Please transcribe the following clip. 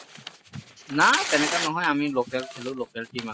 নাই তেনেকৈ নহয় আমি local খেলো local team আছে